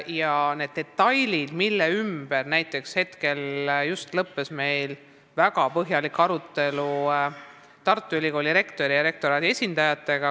Just lõppes meil näiteks väga põhjalik arutelu detailide üle Tartu Ülikooli rektori ja rektoraadi esindajatega.